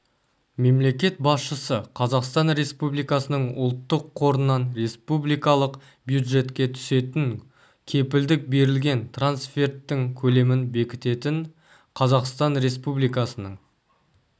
мемлекет басшысы қазақстан республикасының ұлттық қорынан республикалық бюджетке түсетін кепілдік берілген трансферттің көлемін бекітетін қазақстан республикасының